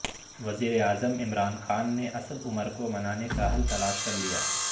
وزیراعظم عمران خان نے اسد عمر کو منانے کا حل تلاش کر لیا